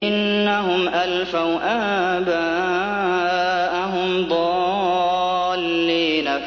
إِنَّهُمْ أَلْفَوْا آبَاءَهُمْ ضَالِّينَ